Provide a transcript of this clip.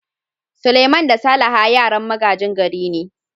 Suleiman da Salaha yaran magajin gari ne.